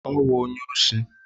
Ọ wụ onye osi.